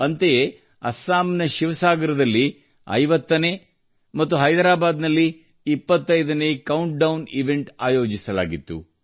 ಅಂತೆಯೇ ಅಸ್ಸಾಂನ ಶಿವಸಾಗರದಲ್ಲಿ 50 ನೇ ಮತ್ತು ಹೈದರಾಬಾದ್ ನಲ್ಲಿ 25ನೇ ಕೌಂಟ್ಡೌನ್ ಇವೆಂಟ್ ಆಯೋಜಿಸಲಾಗಿತ್ತು